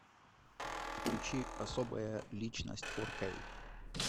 включи особая личность фор кей